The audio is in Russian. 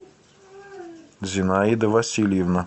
зинаида васильевна